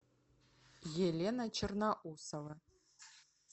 елена черноусова